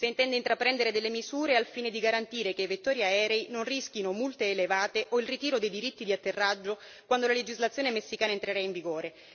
se intende intraprendere delle misure al fine di garantire che i vettori aerei non rischino multe elevate o il ritiro dei diritti di atterraggio quando la legislazione messicana entrerà in vigore.